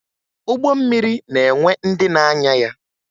Ụgbọ mmiri na-enwe ndị na-anya ya